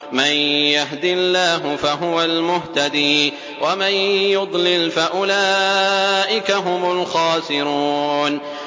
مَن يَهْدِ اللَّهُ فَهُوَ الْمُهْتَدِي ۖ وَمَن يُضْلِلْ فَأُولَٰئِكَ هُمُ الْخَاسِرُونَ